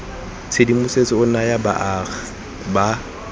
tshedimosetso o naya baagi ba